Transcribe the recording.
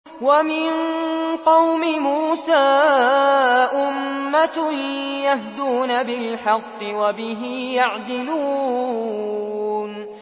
وَمِن قَوْمِ مُوسَىٰ أُمَّةٌ يَهْدُونَ بِالْحَقِّ وَبِهِ يَعْدِلُونَ